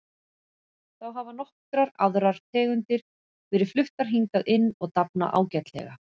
Þá hafa nokkrar aðrar tegundir verið fluttar hingað inn og dafna ágætlega.